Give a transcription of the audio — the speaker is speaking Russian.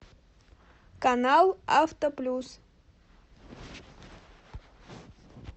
канал авто плюс